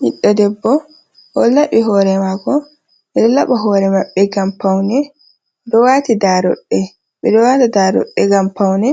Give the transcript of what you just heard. Ɓiɗɗo debbo o laɓi hoore maako. Ɓe ɗo laɓa hoore maɓɓe ngam paune. Oɗo waati daaroɗɗe, ɓe ɗo waata daaroɗɗe ngam paune.